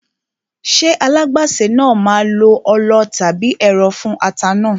Ṣé alágbàsè náà máa lo ọlọ tàbí ẹ̀rọ fún ata náà?